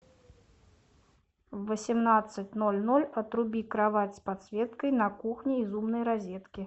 в восемнадцать ноль ноль отруби кровать с подсветкой на кухне из умной розетки